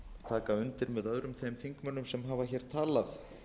taka undir með öðrum þingmönnum sem hafa talað